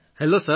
hello sir